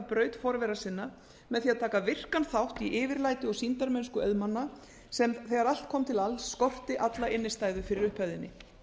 braut forvera sinna með því að taka virkan þátt í yfirlæti og sýndarmennsku auðmanna sem þegar allt kom til alls skorti alla innstæðu fyrir upphæðinni